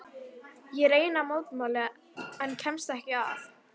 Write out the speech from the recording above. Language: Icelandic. Ég reyni að mótmæla en kemst ekki að.